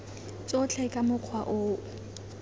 tsotlhe ka mokgwa o o